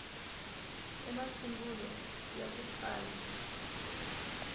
i masungulo ya ku tsala